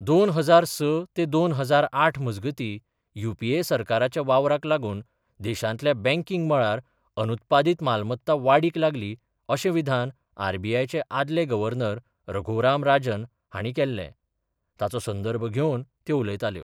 दोन हजार स ते दोन हजार आठ मजगती युपीए सरकाराच्या वावराक लागून देशांतल्या बँकिंग मळार अनुत्पादीत मालमत्ता वाडीक लागली अशें विधान आरबीआयचे आदले गव्हर्नर रघुराम राजन हांणी केल्ले ताचो संदर्भ घेवन त्यो उलयताल्यो.